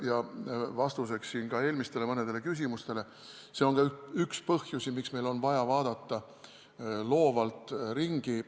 Ja vastuseks ka mõnedele eelmistele küsimustele: see on ka üks põhjus, miks meil on vaja vaadata loovalt ringi.